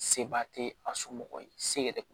Seba tɛ a somɔgɔ ye se yɛrɛ